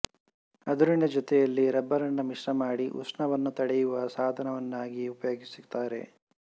ಅದುರಿನ ಜೊತೆಯಲ್ಲಿ ರಬ್ಬರನ್ನು ಮಿಶ್ರಮಾಡಿ ಉಷ್ಣವನ್ನು ತಡೆಯುವ ಸಾಧನವನ್ನಾಗಿ ಉಪಯೋಗಿಸುತ್ತಾರೆ